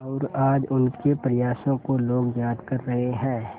और आज उनके प्रयासों को लोग याद कर रहे हैं